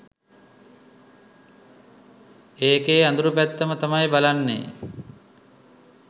ඒකෙ අඳුර් පැත්තම තමයි බලන්නේ.